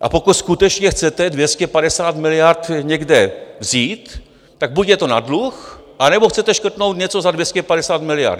A pokud skutečně chcete 250 miliard někde vzít, tak buď je to na dluh, anebo chcete škrtnout něco za 250 miliard.